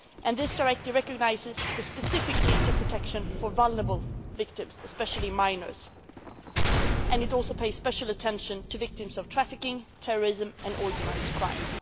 This directive recognises the specific needs of protection for vulnerable victims, especially minors, and it also pays special attention to victims of trafficking, terrorism and organised crime.